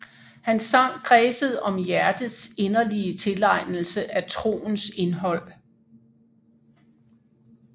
Hans sang kredsede om hjertets inderlige tilegnelse af troens indhold